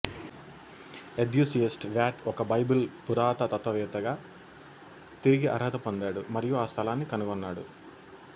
enthusiast Wyatt ఒక Bible పురాతత్వవేత్తగా తిరిగి అర్హత పొందాడు మరియు ఆ స్థలాన్ని కనుగొన్నాడు